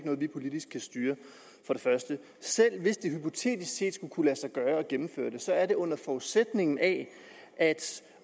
noget vi politisk kan styre selv hvis det hypotetisk set skulle kunne lade sig gøre at gennemføre det så er det under forudsætning af